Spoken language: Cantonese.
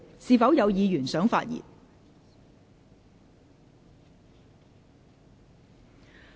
是否有議員想發言？